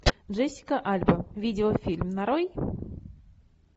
джессика альба видеофильм нарой